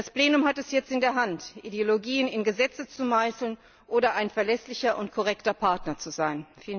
Das Plenum hat es jetzt in der Hand Ideologien in Gesetze zu meißeln oder ein verlässlicher und korrekter Partner zu sein.